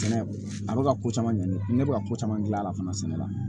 Sɛnɛ a bɛ ka ko caman ɲɛni ne bɛ ka ko caman gilan a la fana sɛnɛ la